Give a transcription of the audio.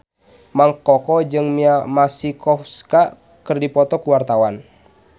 Mang Koko jeung Mia Masikowska keur dipoto ku wartawan